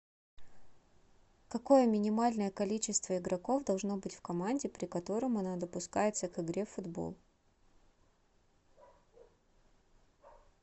какое минимальное количество игроков должно быть в команде при котором она допускается к игре футбол